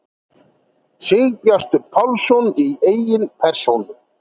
Sigurbjartur Pálsson í eigin persónu!